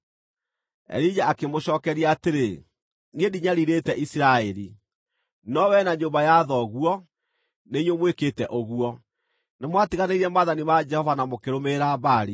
Elija akĩmũcookeria atĩrĩ, “Niĩ ndinyariirĩte Isiraeli. No wee na nyũmba ya thoguo, nĩ inyuĩ mwĩkĩte ũguo. Nĩmwatiganĩirie maathani ma Jehova na mũkĩrũmĩrĩra Baali.